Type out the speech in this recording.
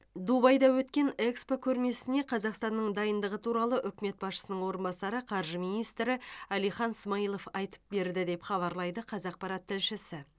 дубайда өткен экспо көрмесіне қазақстанның дайындығы туралы үкімет басшысының орынбасары қаржы министрі әлихан смайылов айтып берді деп хабарлайды қазақпарат тілшісі